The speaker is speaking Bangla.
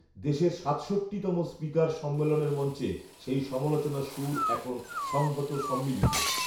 দেশের সাতষট্টিতম স্পিকার সম্মেলনের মঞ্চে সেই সমালোচনার সুর এখন সংহত সম্মিলিত